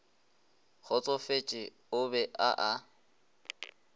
kgotsofetše o be a a